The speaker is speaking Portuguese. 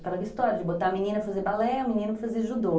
Aquela história de botar a menina a fazer balé e o menino a fazer judô.